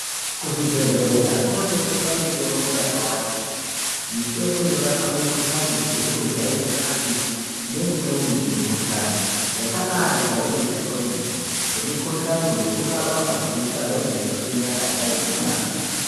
Kuzvibhedhlera kunotengeswa mitombo yakawanda peya. Mitombo inorapa mikuhlani isizi kujairikapi neimweni mikuhlani yakabajairika kwemene. Semikuhlani yekurapa madziso anenge eiswinya kana aine tsanga.